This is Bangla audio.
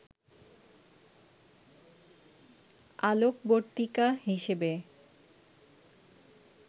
আলোকবর্তিকা হিসেবে